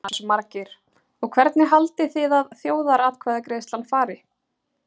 Jónas Margeir: Og hvernig haldið þið að þjóðaratkvæðagreiðslan fari?